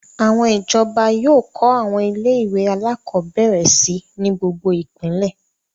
Àwọn ìjọba yóò kọ́ àwọn ilé-ìwé alákọ̀ọ́bẹ̀rẹ̀ si ní gbogbo ìpínlẹ̀.